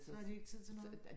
Så har de ikke tid til noget